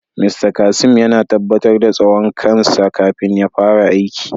"Mr Kasim" yana tabatar da tsawon kan sa kafin ya fara aiki.